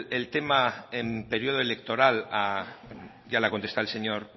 el tema en periodo electoral ya le ha contestado el señor